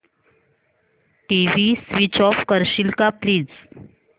TV switch off करशील का please